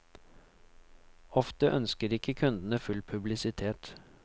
Ofte ønsker ikke kundene full publisitet.